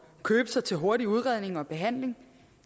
købe sig til hurtig udredning og behandling